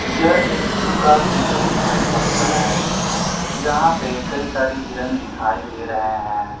यह एक जू का दृश्य दिखाई पड़ता है यहां पे कई सारी हिरण दिखाई दे रहे हैं।